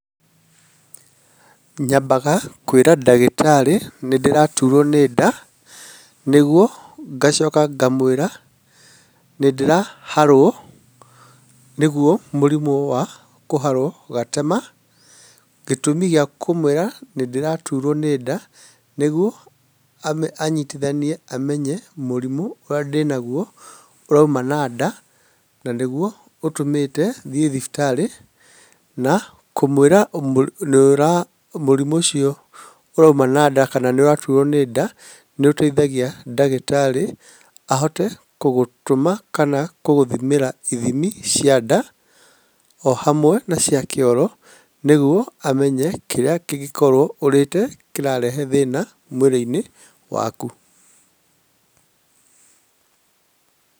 Nyambaga kwĩra ndagĩtarĩ nĩ ndiraturwo nĩ nda nĩguo ngacoka ngamũĩra nĩ ndĩraharwo nĩguo mũrimũ wa kũharwo gatema. Gĩtũmi gĩa kumũĩra nĩ ndĩraturwo nĩ nda niguo anyitithanie amenye mũrimũ ũrĩa ndĩnaguo ũrauma na nda na nĩguo ũtũmite thiĩ thibitari. Na kũmũĩra mũrimũ ũcio ũrauma na nda kana nĩ ũraturwo nĩ nda nĩ ũteithagia ndagĩtarĩ ahote gũgũtũma kana gũgũthimĩra ithimi cia nda o hamwe na cia kĩoro nĩguo amenye kĩrĩa kĩngĩkorwo ũrĩte kĩrarehe thĩna mwĩrĩ-inĩ waku.